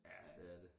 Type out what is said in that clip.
Ja det er det